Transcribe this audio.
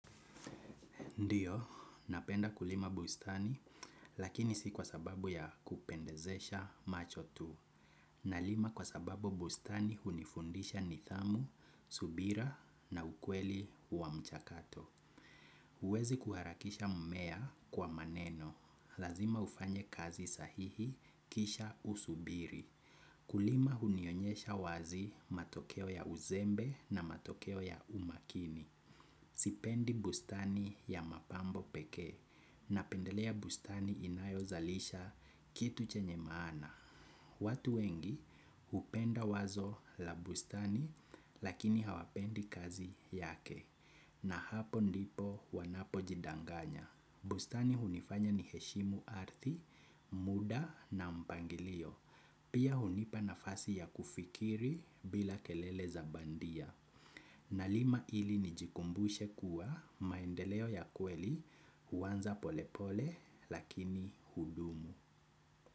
Ndiyo, napenda kulima bustani, lakini si kwa sababu ya kupendezesha macho tu. Nalima kwa sababu bustani hunifundisha nidhamu, subira na ukweli wa mchakato. Huwezi kuharakisha mmea kwa maneno. Lazima ufanye kazi sahihi kisha usubiri. Kulima hunionyesha wazi matokeo ya uzembe na matokeo ya umakini. Sipendi bustani ya mapambo pekee napendelea bustani inayozalisha kitu chenye maana. Watu wengi hupenda wazo la bustani lakini hawapendi kazi yake na hapo ndipo wanapojidanganya. Bustani hunifanya ni heshimu ardhi, muda na mpangilio. Pia hunipa nafasi ya kufikiri bila kelele za bandia. Nalima ili nijikumbushe kuwa maendeleo ya kweli huanza polepole lakini hudumu.